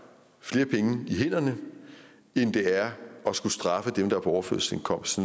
flere penge i hænderne end det er at straffe dem der er på overførselsindkomst